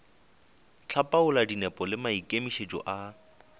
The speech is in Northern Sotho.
hlapaola dinepo le maikemišetšo a